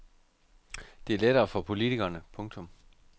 Det er lettere for politikerne. punktum